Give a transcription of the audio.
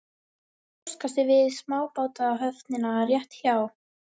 Það var póstkassi við smábátahöfnina rétt hjá